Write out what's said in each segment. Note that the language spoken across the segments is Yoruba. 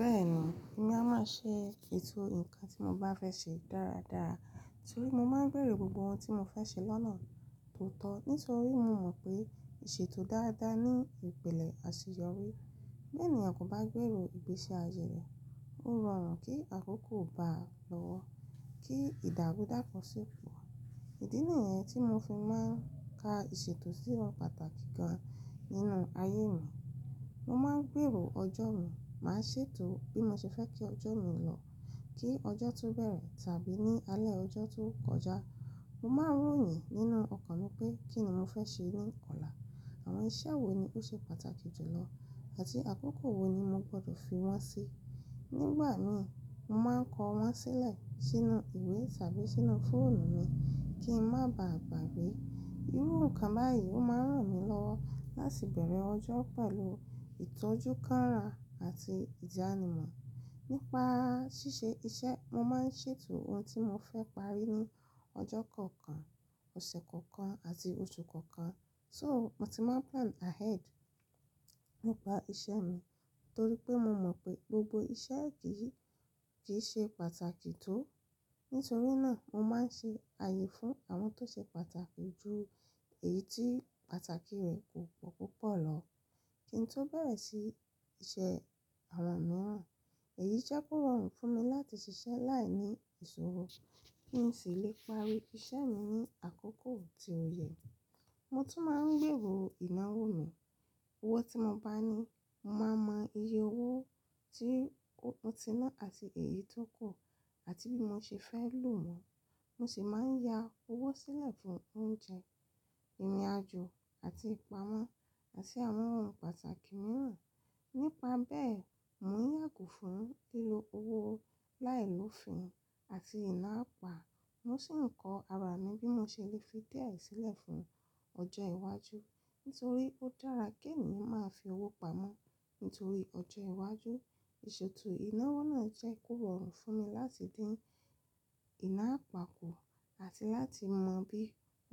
Bẹ́ẹ̀ni, èmi a máa ṣe eètò nkàn ti mo bá fẹ́ ṣe dáradára torí mo máa ń gbeero gbogbo ohun tí mo ba fẹ́ ṣe lọ́nà to tọ̀ nítorí mo mọ̀ pé ìṣètò dáadáa ní ìpìlẹ̀ àṣeyọrí. Bi ènìyàn kò bá gbèrò ìgbésí ayé rẹ̀, ó rọrùn kí àkókò bá a lọ́wọ́ kí ìdàru dàpo sípò. Ìdí ni yii tí mo fi máa ń ka ìṣètò sí ohun pàtàkì gan nínú ayé mi. Mo máa ń gbèrò ọjọ́ mi, màá ṣètò bí mo ṣe fẹ́ kí ọjọ́ mi lọ kí ọjọ́ tó bẹ̀rẹ̀ tàbí ní alẹ́ ọjọ́ tó kọjá. Mo máa ń ròyìn nínú ọkàn mi pé kí ni mo fẹ́ ṣe ní ọ̀la, àwọn iṣẹ́ wo ni ó ṣe pàtàkì jùlọ àti àkókò wo ni mo gbọdọ̀ fi wọ́n sí. Nígbà mi, mo máa ń kọ wọ́n sílẹ̀ sínú ìwé tàbí sínú fóònù mi kí n má ba à gbàgbé. Irú nǹkan báyìí ó máa ń ràn mí lọ́wọ́ láti bẹ̀rẹ̀ ọjọ́ pẹ̀lú ìtọ́jú káara àti ìjánimọ̀. Nípa ṣíṣe iṣẹ́, mo máa ń ṣètò ohun tí mo fẹ́ parí ní ọjọ́ kọ̀ọ̀kan, ọ̀sẹ̀ kọ̀ọ̀kan àti oṣù kọ̀ọ̀kan. So, mo ti máa ń plan ahead nípa iṣẹ́ mi torí pé mo mọ̀ pé gbogbo iṣẹ́ kì í ṣe pàtàkì tó. Nítorí náà mo máa ń ṣe ààyè fún àwọn tó ṣe pàtàkì ju èyí tí pàtàkì rẹ̀ kò pọ̀ púpọ̀ lọ kí n tó bẹ̀rẹ̀ sí se àwọn mìíràn. Èyí jẹ́ kó rọrùn fún mi láti ṣiṣẹ́ láìní ìṣòro kí n sì lè parí iṣẹ́ mi ní àkókò tí ó yẹ. Mo tún máa ń gbèrò ìnáwó mi. Owó tí mo bá ní, mo máa mọ iye owó tí mo ti ná àti èyí tó kù àti bí mo ṣe fẹ́ lò wọ́n. Bẹ́ẹ̀ni, èmi a máa ṣe ètò nkàn ti mo bá fẹ́ ṣe dáradára torí mo máa ń gbèrò gbogbo ohun tí mo fẹ́ ṣe lọ́nà tó tọ̀ nítorí mo mọ̀ pé ìṣètò dáadáa ní ìpìlẹ̀ àṣeyọrí. Ni pa bee, mo n yago fun lilo owo lai lofin ati ina apa mo si n ko ara mi, bi mo se le fi die sile di ojo iwaju, tori pe o dara ki eniyan maa fi owo pamo tori ọjọ iwájú iseto inawo naa jẹ́ ko rorun lati din ina apa kù àti láti mo bi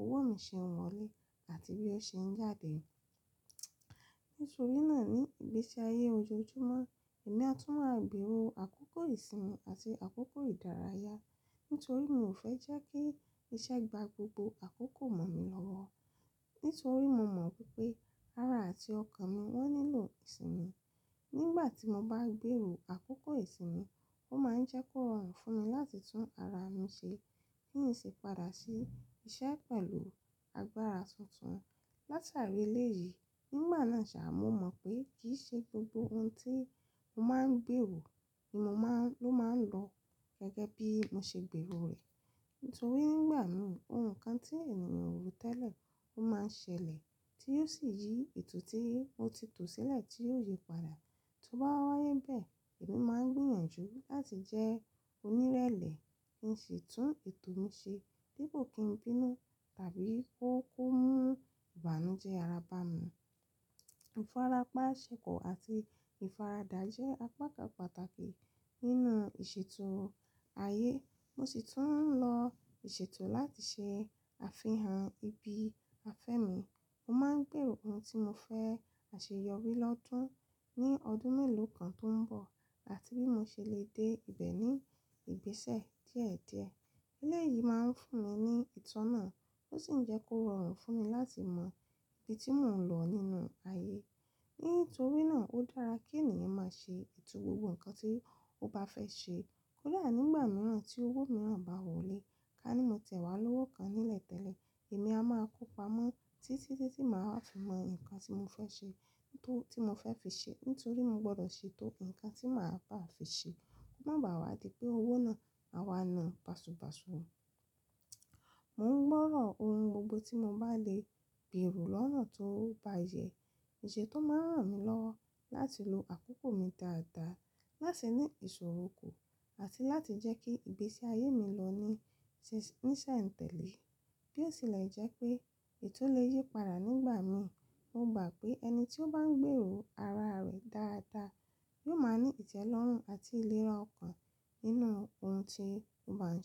owo mi se n wọlé àti bí o ṣe n jáde nito ri naa ni igbesi aye ojoojumọ emi a tun máa gbero àkókò isinmi àti àkókò ìdárayá nito mi o fe je ki iṣẹ gba gbogbo akoko mọn mi l'ọwọ, nitoripe mo mọn wipe ara àti ọkàn mi nilo isinmi nigbati mo ba ń gbèrò àkókò isinmi, o ma n je ko rorun lati tun ara mi ṣe. Ki n si pada si iṣẹ pelu agbára tuntun latari eleyii, nigba naa sa, mo mon pe kii se gbogbo ohun ti mo maa n gbero lo ma n lo bi gege bi mo se gbe ero rẹ to ri ni igbà mi, ohun ti eniyan ko ro tẹle o maa n sele, ti yio si yii eto o ti tò sile, ti yio si yi padà. Ti o ba waa ribe, e mi maa n gbiyanju lati je òní ìrẹlẹ, ki n si tun eto mi se dipo ki n bínú tàbí ki o mu ìbànújẹ ara bami. Ifarapa asiko ati ifarada je apakan pàtàkì nínú iṣeto aye mo si tun nlo iseto láti ṣè afihan ibi afe mi. Mo máa ń gbèrò ohun tí mo fẹ́ àṣeyọrí lọ́dún ní ọdún mélòó kan tó ń bọ̀ àti bí mo ṣe lè dé ibẹ̀ ní ìgbésẹ̀ díẹ̀díẹ̀. Eléyìí máa ń fún mi ní ìtọ́nà tó sì ń jẹ́ kó rọrùn fún mi láti mọ ibi tí mò ń lọ nínú ayé. Nítorí náà ó dára kí ènìyàn máa ṣe ètò gbogbo ohun kan tí ó bá fẹ́ ṣe. Kódà nígbà mìíràn tí owó mìíràn bá wọlé, ká ní mo tẹ̀wá lọ́wọ́ kan nílẹ̀tẹ̀lé, èmi a máa kó pamọ́ títí tí màá fi mọ ohun kan tí mo fẹ́ ṣe, tí mo fẹ́ fi ṣe nítorí mo gbọdọ̀ ṣe tó ohun kan tí màá ba à fi ṣe. Ó máa wá di pé owó náà á wa na bàsu basú. Mò ń gbọ́ràn ohun gbogbo tí mo bá lè gbèrò lọ́nà tó bá yẹ, èṣe tó máa ń ràn mí lọ́wọ́ láti lo àkókò mi dáadáa, láti ní ìṣòro kù àti láti jẹ́ kí ìgbésí ayé mi lọ níṣẹ́ǹtẹ̀lé bí ó tilẹ̀ jẹ́ pé ètò lè yí padà nígbà mi. Mo gbà pé ẹni tí ó bá ń gbèrò ara rẹ̀ dáadáa yóò máa ní ìtẹ́lọ́rùn àti ìlera ọkàn nínú ohun tí ó bá ń ṣe.